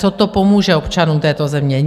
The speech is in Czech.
Co to pomůže občanům této země?